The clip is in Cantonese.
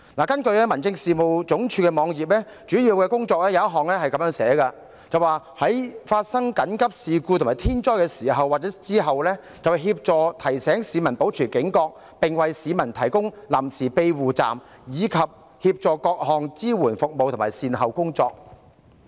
根據民政事務總署的網頁，該署其中一項主要工作如下："在發生緊急事故和天災的時候及之後，協助提醒市民保持警覺，並為市民提供臨時庇護站，以及協調各項支援服務和善後工作。